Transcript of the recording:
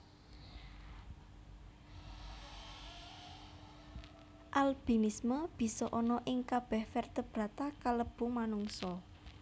Albinisme bisa ana ing kabeh vertebrata kalebu manungsa